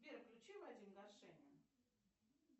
сбер включи вадим горшенин